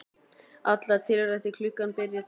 Allar tiltækar klukkur byrja að tifa.